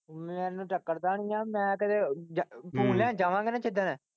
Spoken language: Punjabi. ਮੈਨੂੰ ਟਕਰਦਾ ਨਹੀਂ ਗਾ ਮੈਂ ਕਿਤੇ ਲੈਣ ਜਾਵਾਂਗਾ ਨਾ ਜਿੱਦਣ।